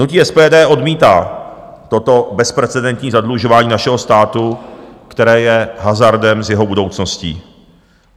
Hnutí SPD odmítá toto bezprecedentní zadlužování našeho státu, které je hazardem s jeho budoucností.